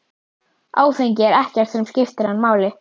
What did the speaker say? Áfengi er ekkert sem skiptir hann máli.